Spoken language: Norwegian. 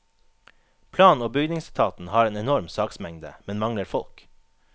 Plan og bygningsetaten har en enorm saksmengde, men mangler folk.